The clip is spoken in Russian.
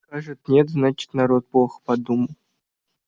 скажет нет значит народ плохо подумал